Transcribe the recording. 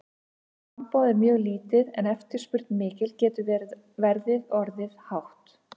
Ef framboð er mjög lítið en eftirspurn mikil getur verðið orðið hátt.